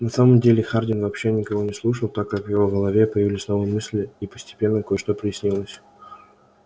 на самом деле хардин вообще никого не слушал так как в его голове появились новые мысли и постепенно кое-что прояснилось